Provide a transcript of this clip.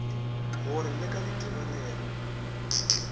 go re le ka ditebelelo